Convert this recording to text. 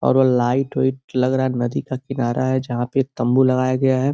और वो light white लग रहा है। नदी का किनारा है जहाँ पे तम्बू लगाया गया है।